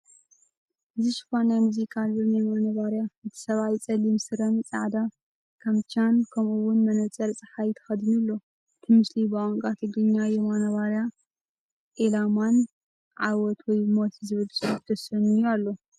ሽፋን ናይ ሙዚቃ ኣልበም የማነ ባርያ። እቲ ሰብኣይ ጸሊም ስረን ጻዕዳ ካምቻን፡ ከምኡ’ውን መነጽር ጸሓይ ተኸዲኑ ኣሎ። እቲ ምስሊ ብቋንቋ ትግርኛ "የማነ ባርያ ኤላማና ዓወት ወይ ሞት" ዝብል ጽሑፍ ተሰንዩ ኣሎ።